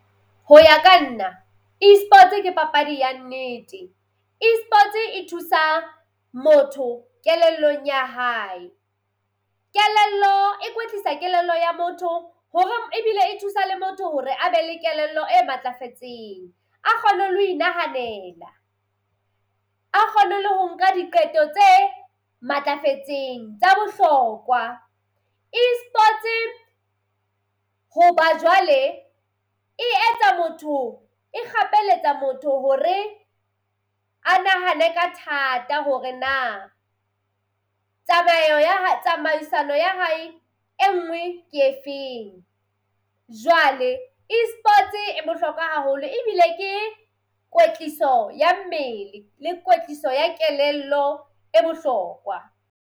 Ho ya ka nna esports ke papadi ya nnete. Esports e thusa motho kelellong ya hae. Kelello e kwetlisa kelello ya motho hore ebile e thusa le motho hore a be le kelello e matlafetseng a kgone le ho inahanela. A kgone ho nka diqeto tse matlafetseng tsa bohlokwa. Esports hoba jwale e etsa motho e kgapeletsa motho hore a nahane ka thata hore na tsamayo ya tsamaisano ya hae e nngwe ke efeng. Jwale esports e bohlokwa haholo ebile ke kwetliso ya mmele le kwetliso ya kelello e bohlokwa.